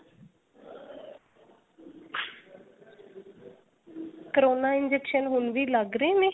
corona injection ਹੁਣ ਵੀ ਲੱਗ ਰਹੇ ਨੇ